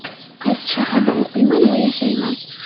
Qaysi shaharda o‘qiyman va yashayman?